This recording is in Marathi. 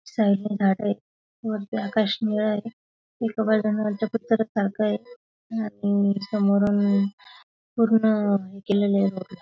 साईडला झाड ये वरती आकाश निळ ए एका बाजून चाक ए आणि आणि समोरून पूर्ण केलेलं हे बघ--